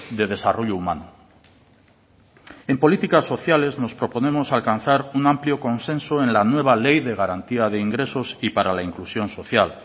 de desarrollo humano en políticas sociales nos proponemos alcanzar un amplio consenso en la nueva ley de garantía de ingresos y para la inclusión social